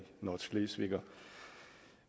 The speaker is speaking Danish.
nordschleswiger